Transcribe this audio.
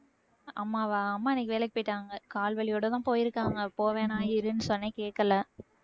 அம்மாவா அம்மா இன்னைக்கு வேலைக்கு போயிட்டாங்க கால் வலியோடதான் போயிருக்காங்க போவேணாம் இருன்னு சொன்னேன் கேக்கல